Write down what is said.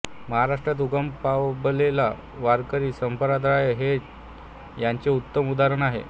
महाराष्ट्रात उगम पाबलेला वारकरी संप्रदाय हे याचे उत्तम उदाहरण आहे